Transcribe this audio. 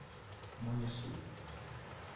но не суть